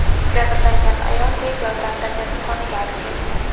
Jabrlangan ayol tez yordamda kasalxonaga olib kelingan.